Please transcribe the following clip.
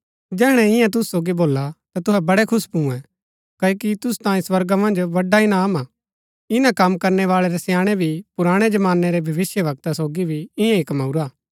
जैहणै इआं तुसु सोगी भोल्ला ता तुहै बड़ै खुश भुंयैं क्ओकि तुसु तांयें स्वर्गा मन्ज बडा इनाम हा इन्‍ना कम करनै बाळै रै स्याणैं भी पुराणै जमानै रै भविष्‍यवक्ता सोगी भी ईयां ही कमाऊरा